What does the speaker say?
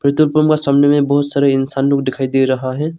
सामने में बहुत सारा इंसान लोग दिखाई दे रहा है।